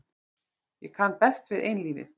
Ég kann best við einlífið.